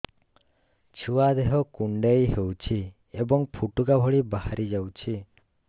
ଛୁଆ ଦେହ କୁଣ୍ଡେଇ ହଉଛି ଏବଂ ଫୁଟୁକା ଭଳି ବାହାରିଯାଉଛି